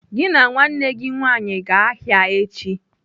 "Gị na nwanne gị nwaanyị gaa ahịa echi!